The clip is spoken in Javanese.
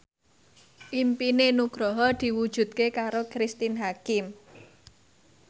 impine Nugroho diwujudke karo Cristine Hakim